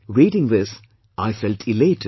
Reading this I felt elated